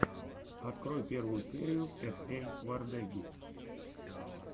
открой первую серию эс эй вордеги